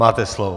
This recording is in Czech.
Máte slovo.